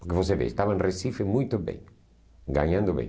Porque você vê, estava em Recife muito bem, ganhando bem.